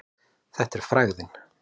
Þetta er frægðin.